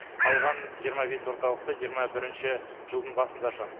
қалған жиырма бес орталықты жиырма бірінші жылдың басында ашамыз